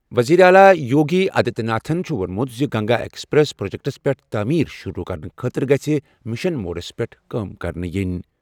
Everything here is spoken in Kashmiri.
وزیر اعلیٰ یوگی آدتیہ ناتھ چھُ ووٚنمُت زِ گنگا ایکسپریس وے پروجیکٹَس پٮ۪ٹھ تعمیٖر شُروٗع کرنہٕ خٲطرٕ گژھہِ مشن موڈس پٮ۪ٹھ کٲم کرنہٕ یِنۍ۔